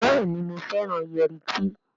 Béèni o féràn Yẹrí tí.